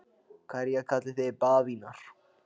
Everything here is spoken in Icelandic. Hverja kallið þið bavíana?